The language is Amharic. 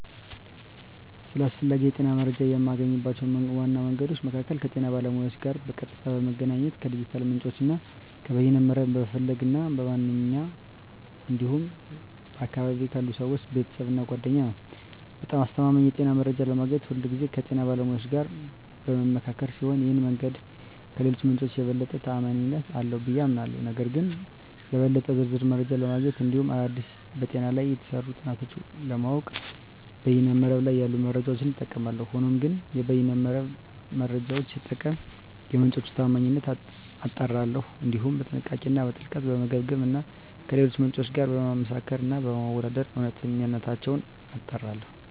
ስለ አስፈላጊ የጤና መረጃን የማገኝባቸው ዋና መንገዶች መካከል ከጤና ባለሙያዎች ጋር በቀጥታ በመገናኘት፣ ከዲጂታል ምንጮች እና ከበይነ መረብ በመፈለግ እና በማንበብ እንዲሁም በአካባቢየ ካሉ ሰወች፣ ቤተሰብ እና ጓደኛ ነዉ። በጣም አስተማማኝ የጤና መረጃ ለማግኘት ሁልጊዜ ከጤና ባለሙያዎች ጋር በምመካከር ሲሆን ይህ መንገድ ከሌሎቹ ምንጮች የበለጠ ተአማኒነት አለው ብየ አምናለሁ። ነገር ግን ለበለጠ ዝርዝር መረጃ ለማግኘት እንዲሁም አዳዲስ በጤና ላይ የተሰሩ ጥናቶችን ለማወቅ በይነ መረብ ላይ ያሉ መረጃዎችን እጠቀማለሁ። ሆኖም ግን የበይነ መረብ መረጃወቹን ስጠቀም የምንጮቹን ታአማኒነት አጣራለሁ፣ እንዲሁም በጥንቃቄ እና በጥልቀት በመገምገም እና ከሌሎች ምንጮች ጋር በማመሳከር እና በማወዳደር እውነተኝነታቸውን አጣራለሁ።